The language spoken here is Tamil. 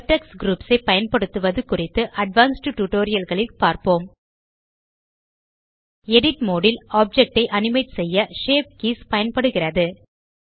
வெர்டெக்ஸ் க்ரூப்ஸ் ஐ பயன்படுத்துவது குறித்து அட்வான்ஸ்ட் tutorialகளில் பார்ப்போம் எடிட் மோடு ல் ஆப்ஜெக்ட் ஐ அனிமேட் செய்ய ஷேப் கீஸ் பயன்படுகிறது